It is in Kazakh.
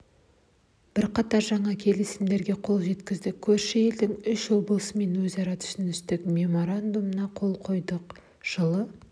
бірқатар жаңа келісімдерге қол жеткізді көрші елдің үш облысымен өзара түсіністік меморандумдарына қол қойдық жылы